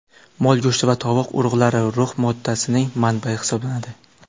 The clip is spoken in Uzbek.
Mol go‘shti va qovoq urug‘lari rux moddasining manbayi hisoblanadi.